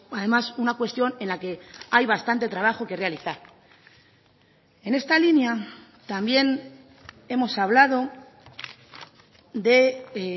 además una cuestión en la que hay bastante trabajo que realizar en esta línea también hemos hablado de